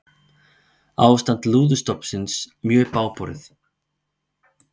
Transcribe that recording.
Ástand lúðustofnsins mjög bágborið